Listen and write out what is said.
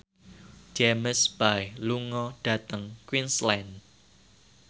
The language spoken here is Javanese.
James Bay lunga dhateng Queensland